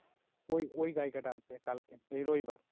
ওই ওই গাইকাটা আসবে কালকে এই রবিবার